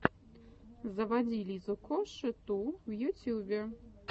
заводи лизу коши ту в ютюбе